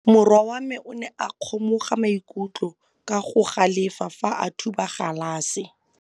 Morwa wa me o ne a kgomoga maikutlo ka go galefa fa a thuba galase.